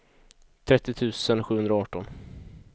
trettio tusen sjuhundraarton